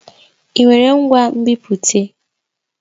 Ị nwere ngwa nbipute?